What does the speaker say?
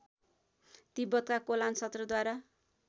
तिब्बतका कोलान सत्रद्वारा